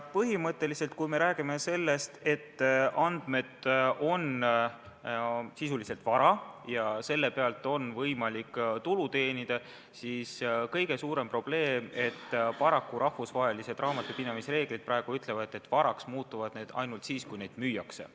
Põhimõtteliselt on nii, et kui me räägime sellest, et andmed on sisuliselt vara ja selle pealt on võimalik tulu teenida, siis kõige suurem probleem on see, et paraku rahvusvahelised raamatupidamisreeglid praegu ütlevad, et varaks muutuvad need ainult siis, kui neid müüakse.